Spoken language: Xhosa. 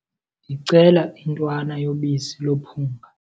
Ndicela intwana yobisi lophunga.